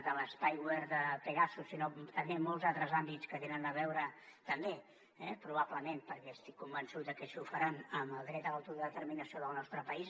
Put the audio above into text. de l’altres àmbits que tenen a veure també probablement perquè estic convençut de que així ho faran amb el dret a l’autodeterminació del nostre país